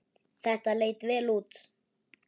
Þetta leit vel út.